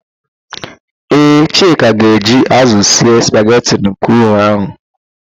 Ee, Chike ga-eji ázụ̀ sie spageti craụn ahụ.